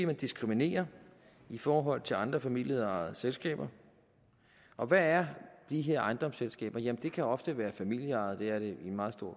man diskriminerer i forhold til andre familieejede selskaber og hvad er de her ejendomsselskaber jamen det kan ofte være familieejede det er det i meget